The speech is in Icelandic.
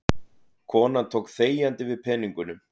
Konan tók þegjandi við peningunum.